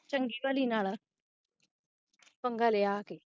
ਚਗੀ ਭਲੀ ਨਾਲ ਪੰਗਾ ਲਿਆ ਆ ਕੇ